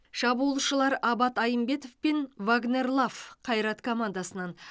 шабуылшылар абат айымбетов пен вагнер лав қайрат командасынан